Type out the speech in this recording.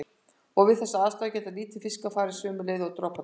Og við þessar aðstæður geta litlir fiskar farið sömu leið og droparnir.